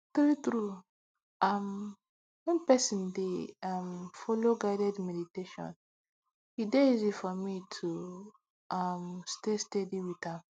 truetrue um when person dey um follow guided meditation e dey easy for me to um stay steady with am